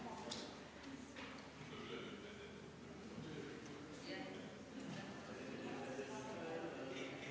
V a h e a e g